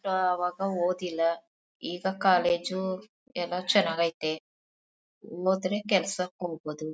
ಆವಾಗ ಓದಲಿಲ್ಲ ಈಗ ಕಾಲೇಜು ಎಲ್ಲಾ ಚೆನ್ನಾಗ್ ಐತೆ ಓದ್ರೆ ಕೆಲ್ಸಕ್ ಹೋಗ್ಬಹುದು.